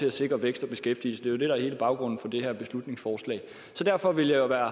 at sikre vækst og beskæftigelse det er jo det der er hele baggrunden for det her beslutningsforslag så derfor ville